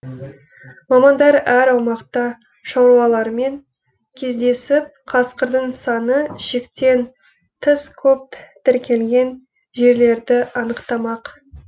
мамандар әр аумақта шаруалармен кездесіп қасқырдың саны шектен тыс көп тіркелген жерлерді анықтамақ